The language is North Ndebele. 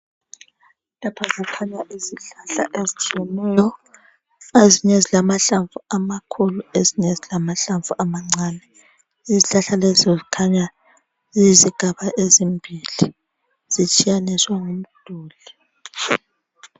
Lapha kukhanya izihlahla ezitshiyeneyo ezinye zilamahlamvu amakhulu ezinye zilamahlamvu amancane izihlahla lezi kukhanya yizigaba ezimbili zitshiyaniswe ngumduli.